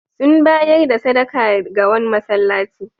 Sun bayar da sadaka ga wani masallaci.